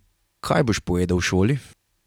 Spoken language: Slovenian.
Kaj boš povedal v šoli?